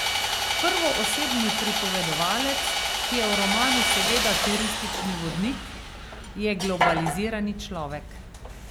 Prvoosebni pripovedovalec, ki je v romanu seveda turistični vodnik, je globalizirani človek.